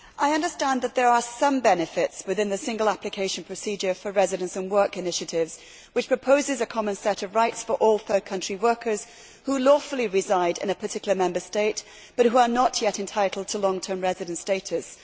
Madam President, I understand that there are some benefits within the single application procedure for residence and work initiatives, which proposes a common set of rights for all third country workers who lawfully reside in a particular Member State but who are not yet entitled to long term residence status.